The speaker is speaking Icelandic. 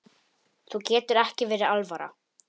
Þér getur ekki verið alvara.